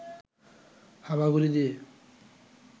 হামাগুড়ি দিয়ে